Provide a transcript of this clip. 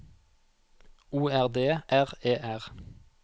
O R D R E R